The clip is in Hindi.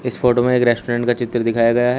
इस फोटो में एक रेस्टोरेंट का चित्र दिखाया गया है।